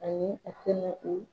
Ayi a tɛna o